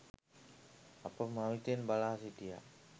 අප මවිතයෙන් බලා සිටියා